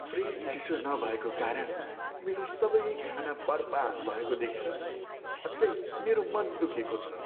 Fridge चिसो नभएको कारण मेरो सबै खाना बर्बाद भएको देखेर साँच्चै मेरो मन दुखेको को छ।